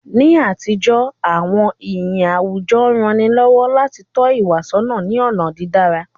Ni àtijọ́, àwọn iyì àwùjọ rán ni lọ́wọ́ láti tọ́ ìwà sọ́nà ní ọ̀nà dídára.